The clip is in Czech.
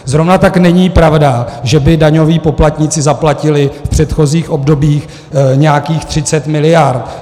Zrovna tak není pravda, že by daňoví poplatníci zaplatili v předchozích obdobích nějakých 30 miliard.